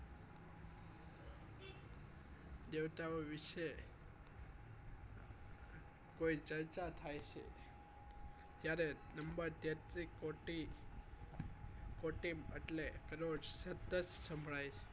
દેવતા ઓ વિષ કોઈ ચર્ચા થાય છ ત્યારે કોટી કોટિન એટલે પેલો જ સતત સંભળાય છે